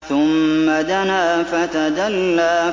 ثُمَّ دَنَا فَتَدَلَّىٰ